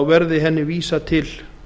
verði henni vísað til